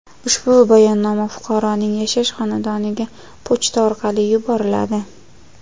Ushbu bayonnoma fuqaroning yashash xonadoniga pochta orqali yuboriladi.